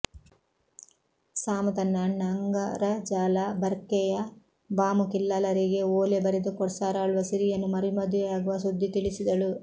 ಸಾಮು ತನ್ನ ಅಣ್ಣ ಅಂಗರ ಜಾಲ ಬರ್ಕೆಯ ಬಾಮು ಕಿಲ್ಲಾಲರಿಗೆ ಓಲೆ ಬರೆದು ಕೊಡ್ಸರಾಳ್ವ ಸಿರಿಯನ್ನು ಮರುಮದುವೆಯಾಗುವ ಸುದ್ದಿ ತಿಳಿಸಿದಳು